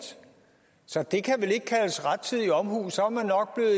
så det kan vel ikke kaldes rettidig omhu så er man nok